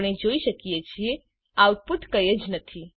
આપણે જોઈ શકીએ છીએ આઉટપુટ કઈ જ નથી